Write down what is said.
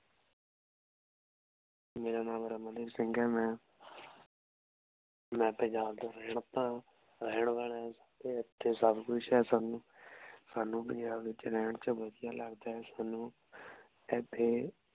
ਮੇਰਾ ਨਾਮ ਰਮਣ ਦੀਪ ਸਿੰਘ ਹੈ ਮੈਂ ਮੈਂ ਪੰਜਾਬ ਦਾ ਰੇਹਨ ਵਾਲਾ ਹਾਂ ਸਾਡੇ ਏਥੇ ਸਬ ਕੁਛ ਹੈ ਸਾਨੂ ਸਾਨੂ ਪੰਜਾਬ ਚ ਰਹਿਣ ਚ ਵਧੀਆ ਲਗਦਾ ਹੈ ਸਾਨੂ ਇਥੇ